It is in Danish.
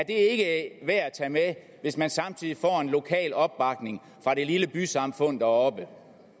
ikke værd at tage med hvis man samtidig får en lokal opbakning fra det lille bysamfund deroppe